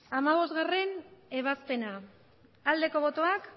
hamabostgarrena ebazpena aldeko botoak